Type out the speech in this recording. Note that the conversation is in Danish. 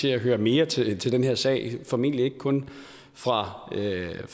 til at høre mere til til den her sag formentlig ikke kun fra